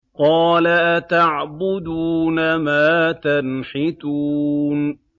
قَالَ أَتَعْبُدُونَ مَا تَنْحِتُونَ